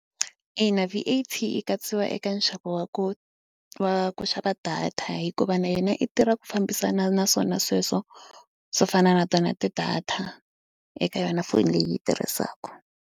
Ina v_a_t yi katsiwile eka nxavo wa ku wa ku xava data hikuva na yona i tirha ku fambisana na swona sweswo swo fana na tona ti-data eka yona foni leyi yi tirhisaka.